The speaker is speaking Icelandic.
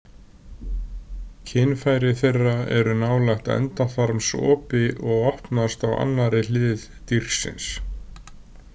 Kynfæri þeirra eru nálægt endaþarmsopi og opnast á annarri hlið dýrsins.